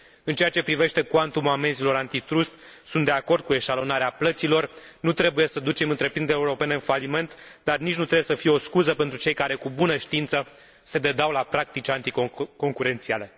În ceea ce privește cuantumul amenzilor anti trust, sunt de acord cu eșalonarea plăților nu trebuie să ducem întreprinderile europene în faliment, dar nici nu trebuie să fie o scuză pentru cei care, cu bună știință, se dedau la practici anticoncurențiale.